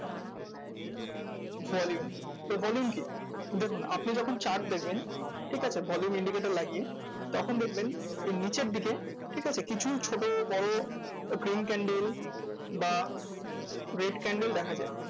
Volume তো volume কি? দেখুন আপনি যখন chart দেখবেন, ঠিক আছে? volume indicator লাগিয়ে, তখন দেখবেন এই নিচের দিকে ঠিক আছে? কিছু ছোট বড়ো green candle বা red candle দেখা যায়।